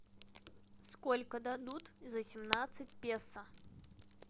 сколько дадут за семнадцать песо